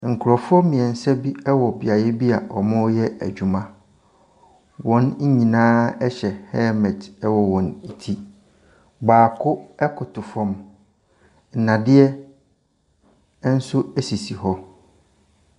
Nkurɔfoɔ mmiɛnsa bi wɔ bea bi a wɔreyɛ adwuma. Wɔn nyinaa hyɛ helmet wɔ ne ti. Baako koto fam, nnadeɛ nso sisi hɔ.